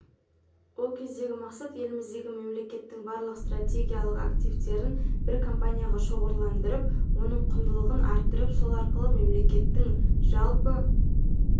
ол кездегі мақсат еліміздегі мемлекеттің барлық стратегиялық активтерін бір компанияға шоғырландырып оның құндылығын арттырып сол арқылы мемлекеттің жалпы